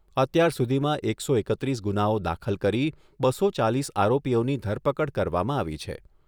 અત્યાર સુધીમાં એકસો એકત્રીસ ગુનાઓ દાખલ કરી બસો ચાલીસ આરોપીઓની ધરપકડ કરવામાં આવી છે.